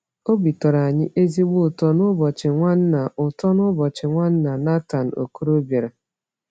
Obi tọrọ anyị ezigbo ụtọ n’ụbọchị Nwanna ụtọ n’ụbọchị Nwanna Nathan Okoro bịara.